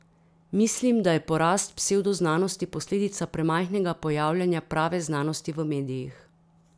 Mislim, da je porast psevdoznanosti posledica premajhnega pojavljanja prave znanosti v medijih.